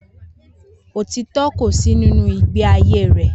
Otitọ kò sí nínú igbe ayé rẹ